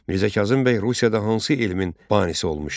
Mirzə Kazım bəy Rusiyada hansı elmin banisi olmuşdur?